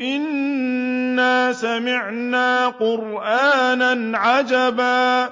إِنَّا سَمِعْنَا قُرْآنًا عَجَبًا